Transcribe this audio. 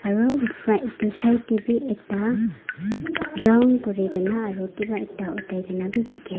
side teh bi ekta round kurikina aro kiba ekta othaina beh dekhi--